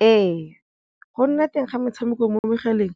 Ee, go nna teng ga metshameko mo megaleng